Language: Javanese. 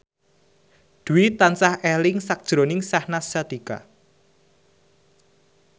Dwi tansah eling sakjroning Syahnaz Sadiqah